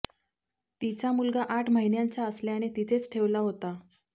तिचा मुलगा आठ महिन्यांचा असल्याने तिथेच ठेवला होता